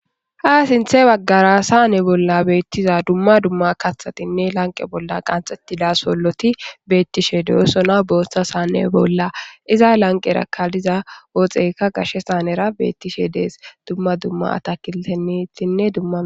ha sinthe baggara saanne bolla beettiza dumma dumma katthatinne lanqe bolla qanxettida solloti beettishe deesona booshtha saanne bolla iza lanqeera kaliza ooxeyka gashe saanera beettishe dees dumma dumma takiltenittinne dumma